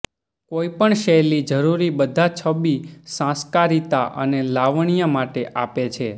કોઈપણ શૈલી જરૂરી બધા છબી સંસ્કારિતા અને લાવણ્ય માટે આપે છે